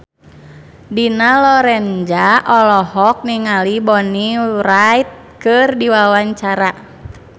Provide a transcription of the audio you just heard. Dina Lorenza olohok ningali Bonnie Wright keur diwawancara